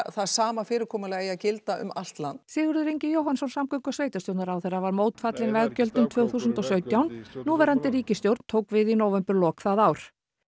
sama fyrirkomulag eigi að gilda um allt land Sigurður Ingi Jóhannsson samgöngu og sveitarstjórnarráðherra var mótfallin veggjöldum tvö þúsund og sautján núverandi ríkisstjórn tók við í nóvemberlok það ár